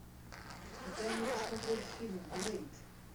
дай мне посмотреть фильм блэйд